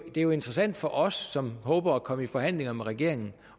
er jo interessant for os som håber at komme i forhandlinger med regeringen